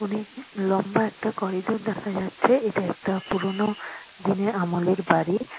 অনেক লম্বা একটা করিডোর দেখা যাচ্ছে এটা একটা পুরোনো দিনের আমলের বাড়ি।